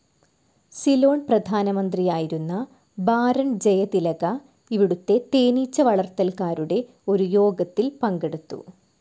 സിലോൺ പ്രധാനമന്ത്രിയായിരുന്ന ബാരോൺ ജയതിലക ഇവിടുത്തെ തേനീച്ച വളർത്തൽകാരുടെ ഒരു യോഗത്തിൽ പങ്കെടുത്തു.